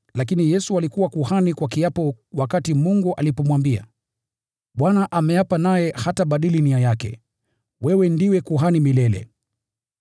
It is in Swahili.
lakini Yesu alifanywa kuhani kwa kiapo wakati Mungu alimwambia: “ Bwana ameapa naye hatabadilisha mawazo yake: ‘Wewe ni kuhani milele.’ ”